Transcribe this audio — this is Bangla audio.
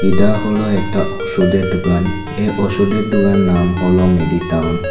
এডা হল একটা ওষুধের ডোকান এই ওষুধের ডোকানের নাম হল মেডিটাউন ।